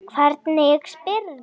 Hvernig spyrðu.